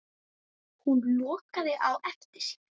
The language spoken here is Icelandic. Hún lokaði á eftir sér.